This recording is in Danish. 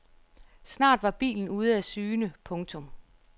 Snart var bilen ude af syne. punktum